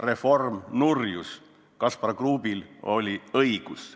Reform nurjus, Kaspar Kruubil oli õigus.